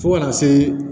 Fo kana se